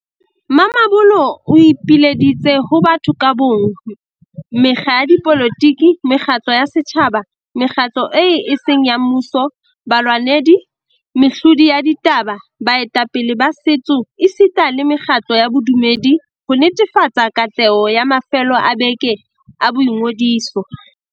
Mamabolo o ipileditse ho batho ka bo mong, mekga ya dipolotiki, mekgatlo ya setjhaba, mekgatlo eo e seng ya mmuso, balwanedi, mehlodi ya ditaba, baetapele ba setso esita le mekgatlo ya bodumedi, ho netefatsa katleho ya mafelo a beke a boingodiso.